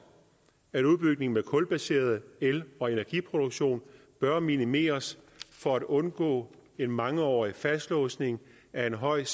at udbygning af kulbaseret el og energiproduktion bør minimeres for at undgå en mangeårig fastlåsning af en høj